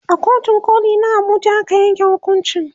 a kotun koli na Abuja aka yanke hukuncin